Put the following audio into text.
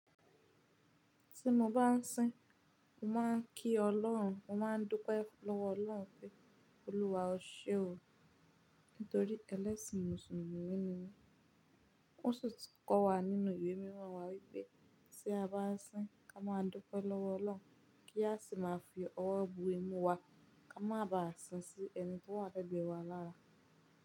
Tí mo bá ń sin, mo má ń kí ọlọ́run, mo má ń dúpẹ́ lọ́wọ́ ọlọ́run pé, Olúwa o ṣe o. Nítorí ẹlẹ́sìn mùsùlùmí ni mí. Ó sun ti kọ́ wa nínú ìwé mímọ̀ wa wípé tí a bá ń sin, ka má a dúpẹ́ lọ́wọ́ ọlọ́run, kí a sì má fi ọwọ́ bo ẹnu wa, ka má ba á sin sí ẹni tí o wa legbẹ̀ wa lára.